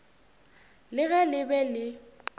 le ge le be le